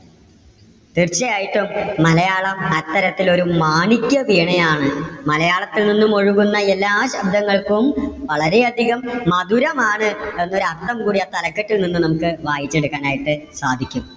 തീർച്ചയായിട്ടും മലയാളം അത്തരത്തിൽ ഒരു മാണിക്യവീണയാണ്. മലയാളത്തിൽ നിന്നും ഒഴുകുന്ന എല്ലാ ശബ്ദങ്ങൾക്കും വളരെ അധികം മധുരമാണ് എന്നൊരർത്ഥം കൂടി ആ തലകെട്ടിൽ നിന്നും നമുക്ക് വായിച്ചെടുക്കാനായിട്ട് സാധിക്കും.